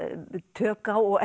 tök á og